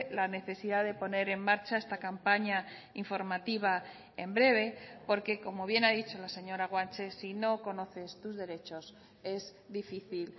la necesidad de poner en marcha esta campaña informativa en breve porque como bien ha dicho la señora guanche si no conoces tus derechos es difícil